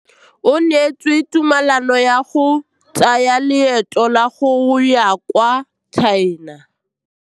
O neetswe tumalanô ya go tsaya loetô la go ya kwa China.